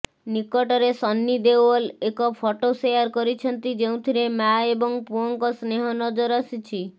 ନିକଟରେ ସନ୍ନି ଦେଓଲ ଏକ photo share କରିଛନ୍ତି ଯେଉଁଥିରେ ମାଆ ଏବଂ ପୁଅଙ୍କ ସ୍ନେହ ନଜର ଆସିଛି